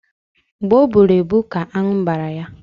Mgbe ọ bụrụ ebu ka anụ gbara ya